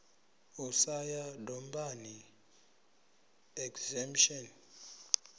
u sa ya dombani exemption